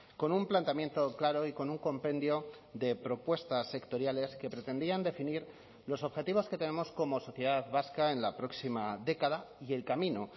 con un planteamiento claro y con un compendio de propuestas sectoriales que pretendían definir los objetivos que tenemos como sociedad vasca en la próxima década y el camino